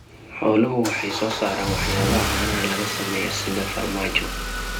Xooluhu waxay soo saaraan waxyaabaha caanaha laga sameeyo sida farmaajo.